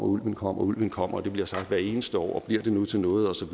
ulven kommer og ulven kommer det bliver sagt hver eneste år og bliver det nu til noget osv